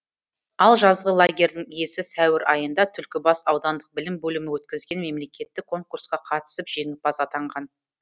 ал жазғы лагерьдің иесі сәуір айында түлкібас аудандық білім бөлімі өткізген мемлекеттік конкурсқа қатысып жеңімпаз атанған